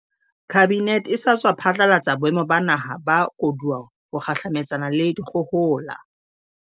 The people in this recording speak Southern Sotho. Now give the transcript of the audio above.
Kabinete e sa tswa phatlalatsa Boemo ba Naha ba Koduwa ho kgahlametsana le dikgohola.